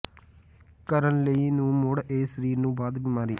ਕਰਨ ਲਈ ਨੂੰ ਮੁੜ ਇਹ ਸਰੀਰ ਨੂੰ ਬਾਅਦ ਬੀਮਾਰੀ